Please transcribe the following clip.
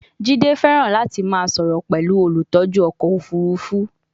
Jide fẹràn lati ma soro pẹlu olutọju ọkọ ofurufu